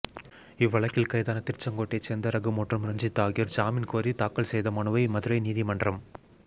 இவ்வழக்கில் கைதான திருச்செங்கோட்டைச் சோ்ந்த ரகு மற்றும் ரஞ்சித் ஆகியோா் ஜாமீன் கோரி தாக்கல் செய்த மனுவை மதுரை நீதிமன்றம்